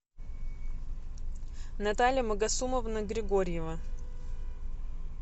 наталья магасумовна григорьева